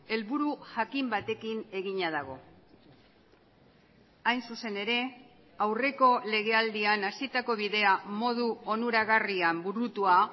helburu jakin batekin egina dago hain zuzen ere aurreko lege aldian hasitako bidea modu onuragarrian burutua